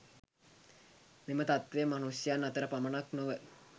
මෙම තත්වය මනුෂ්‍යයන් අතර පමණක් නොව